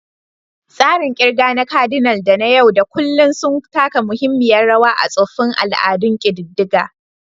Tsarin ƙirga na kadinal da na yau da kullun sun taka muhimmiyar rawa a tsoffin al'adun ƙididdiga.